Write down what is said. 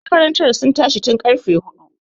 Makarantar sun tashi tun ƙarfe huɗu.